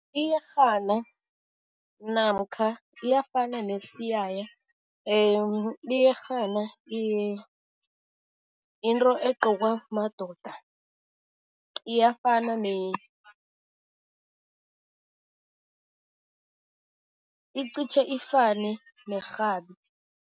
Iyerhana namkha iyafana nesiyaya. Iyerhana into egqokwa madoda, iyafana icitjhe ifane nerhabi.